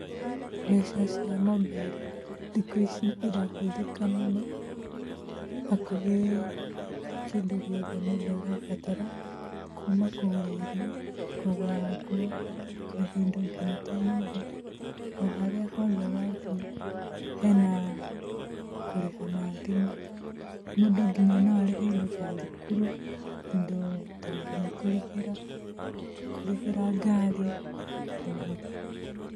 Mbeca cia mobairo thikũ ici irahũthĩka mũno, hakuhĩ kĩndũ gĩothe mũndũ arabatara, kuuma kũgũra irio, kũgũra nguo, kũrĩha indo nginya ta nyũmba. O harĩa hothe wathiĩ, hena kũrĩha na thimũ. Mũndũ nginya no arĩhe indo ta thukuru, indo nginya ta kũrĩhĩra kũrĩhĩra ngari, ũguo.